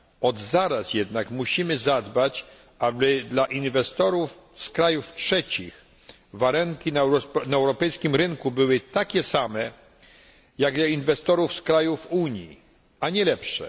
Od zaraz musimy jednak zadbać o to, aby dla inwestorów z krajów trzecich warunki na europejskim rynku były takie same, jak dla inwestorów z krajów Unii, a nie lepsze.